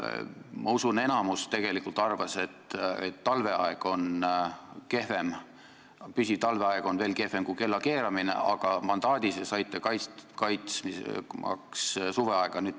Ma usun, et enamik arvas, et püsiv talveaeg on veel kehvem kui kellakeeramine, nii et te saite mandaadi kaitsta suveaega.